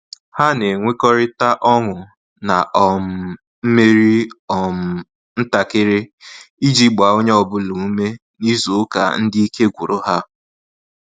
Ha na enwekọrita ọṅụ na um mmeri um ntakịrị iji gbaa onye ọbụla ume n'izu ụka ndị ike gwụrụ ha